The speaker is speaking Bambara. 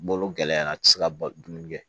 Bolo gɛlɛyara a ti se ka dumuni kɛ